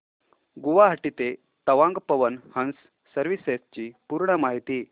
गुवाहाटी ते तवांग पवन हंस सर्विसेस ची पूर्ण माहिती